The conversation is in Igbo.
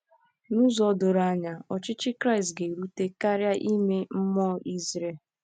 N'ụzọ doro anya, ọchịchị Kristi ga-erute karịa ime mmụọ Izrel.